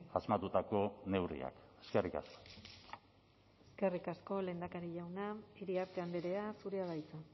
asmatutako neurriak eskerrik asko eskerrik asko lehendakari jauna iriarte andrea zurea da hitza